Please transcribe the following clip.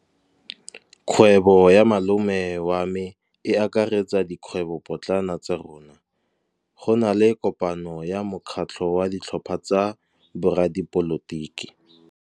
Kgwêbô ya malome wa me e akaretsa dikgwêbôpotlana tsa rona. Go na le kopanô ya mokgatlhô wa ditlhopha tsa boradipolotiki.